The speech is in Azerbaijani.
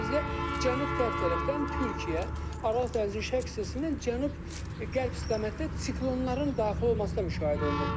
Məsələn, bizdə cənub-qərb tərəfdən Türkiyə, Aralıq dənizinin şərq hissəsindən cənub-qərb istiqamətdə siklonların daxil olmasına müşahidə olunur.